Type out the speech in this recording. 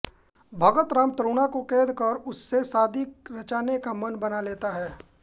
भगतराम तरुणा को क़ैद कर उससे शादी रचाने का मन बना लेता है